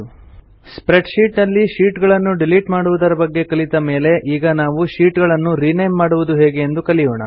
spread sheet ನಲ್ಲಿ sheet ಗಳನ್ನು delete ಮಾಡುವುದರ ಬಗ್ಗೆ ಕಲಿತ ಮೇಲೆ ಈಗ ನಾವು ಶೀಟ್ ಗಳನ್ನು ರಿನೇಮ್ ಮಾಡುವುದು ಹೇಗೆ ಎಂದು ಕಲಿಯೋಣ